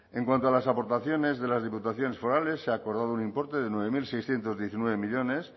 en cuanto a las aportaciones de las diputaciones forales se ha acordado un importe de nueve mil seiscientos diecinueve millónes